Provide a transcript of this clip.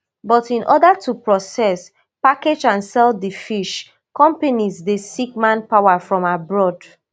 but in order to process package and sell di fish companies dey seek manpower from abroad